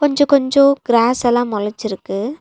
கொஞ்சோ கொஞ்சோ க்ராஸ் எல்லா மொளச்சிருக்கு.